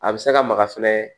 A bɛ se ka maga fɛnɛ